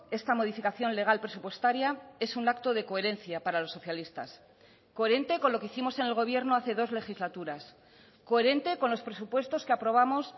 esta modificación legal presupuestaria es un acto de coherencia para los socialistas coherente con lo que hicimos en el gobierno hace dos legislaturas coherente con los presupuestos que aprobamos